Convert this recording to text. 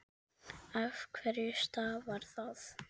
Af hverju stafar það?